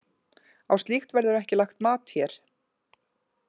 Á slíkt verður ekki lagt mat hér.